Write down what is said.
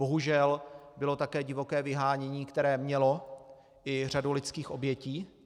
Bohužel bylo také divoké vyhánění, které mělo i řadu lidských obětí.